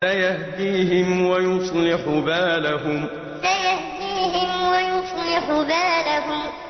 سَيَهْدِيهِمْ وَيُصْلِحُ بَالَهُمْ سَيَهْدِيهِمْ وَيُصْلِحُ بَالَهُمْ